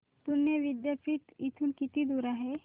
पुणे विद्यापीठ इथून किती दूर आहे